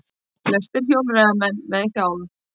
Flestir hjólreiðamenn með hjálm